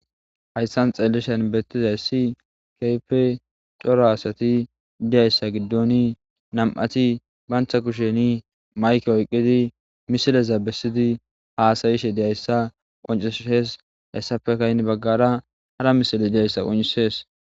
hayssan xeellishen beettizayssi keepe coro asati idiyayssa giddon nam7ati bantha kusheni mayke oyqqidi misilezaabesidi haasayishe diyayssa qonceshes hessafe kaynni baggara hara misile diyayssa qoncisees